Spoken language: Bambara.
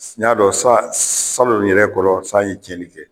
N y'a dɔn sa salon yɛrɛ kɔrɔ san ye cɛli kɛ